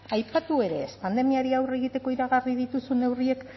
aipatu ere ez pandemiari aurre egiteko iragarri dituzuen neurriek